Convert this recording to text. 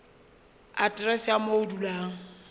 aterese ya moo o dulang